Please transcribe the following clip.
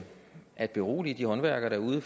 at berolige de håndværkere derude